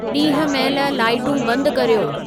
ॾींहं महिल लाइटूं बंदि कर्यो